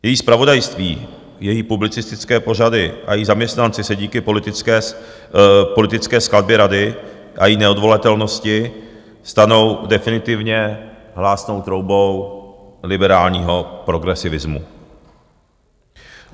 Její zpravodajství, její publicistické pořady a její zaměstnanci se díky politické skladbě rady a její neodvolatelnosti stanou definitivně hlásnou troubou liberálního progresivismu.